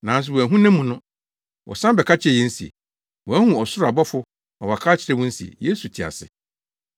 nanso wɔanhu nʼamu no. Wɔsan bɛka kyerɛɛ yɛn se, wɔahu ɔsoro abɔfo ma wɔaka akyerɛ wɔn se, Yesu te ase.